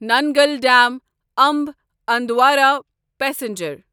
Nangal dam A M B Andaura passenger